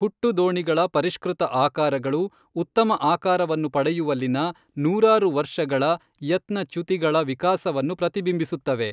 ಹುಟ್ಟು ದೋಣಿಗಳ ಪರಿಷ್ಕೃತ ಆಕಾರಗಳು ಉತ್ತಮ ಆಕಾರವನ್ನು ಪಡೆಯುವಲ್ಲಿನ ನೂರಾರು ವರ್ಷಗಳ ಯತ್ನ ಚ್ಯುತಿಗಳ ವಿಕಾಸವನ್ನು ಪ್ರತಿಬಿಂಬಿಸುತ್ತವೆ.